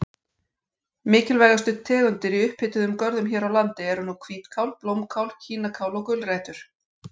Mikilvægustu tegundir í upphituðum görðum hér á landi eru nú hvítkál, blómkál, kínakál og gulrætur.